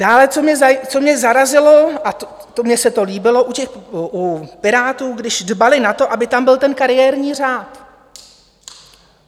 Dále co mě zarazilo - a mně se to líbilo u Pirátů, když dbali na to, aby tam byl ten kariérní řád.